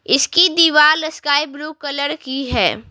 इसकी दीवार sky blue colour की है।